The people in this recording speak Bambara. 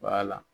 la